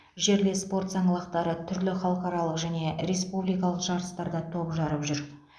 жерлес спорт саңлақтары түрлі халықаралық және республикалық жарыстарда топ жарып жүр